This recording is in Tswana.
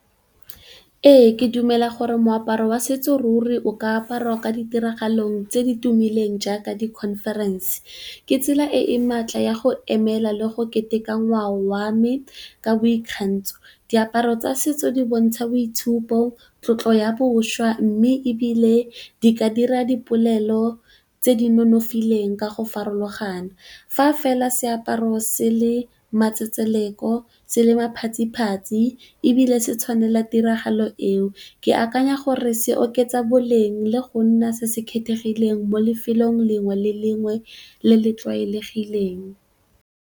Ee, ke dumela gore moaparo wa setso ruri o ka aparwa ka ditiragalong tse di tumileng jaaka di conference. Ke tsela e e maatla ya go emela le go keteka ngwao wa me ka boikgantsho. Diaparo tsa setso di bontsha boitshupo, tlotlo ya bošwa, mme ebile di ka dira dipolelo tse di nonofileng ka go farologana. Fa fela seaparo se le matsetseleko, se le maphatsiphatsi ebile se tshwanela tiragalo eo. Ke akanya gore se oketsa boleng le go nna se se kgethegileng mo lefelong lengwe le lengwe le le tlwaelegileng.